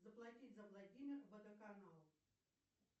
заплатить за владимир водоканал